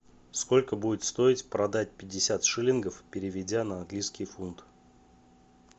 сколько будет стоить продать пятьдесят шиллингов переведя на английский фунт